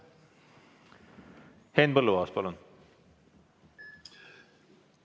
Henn Põlluaas, palun!